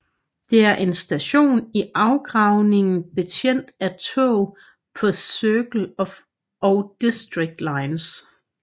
Det er en station i afgravning betjent af tog på Circle og District lines